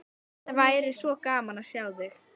Það væri svo gaman að sjá þig.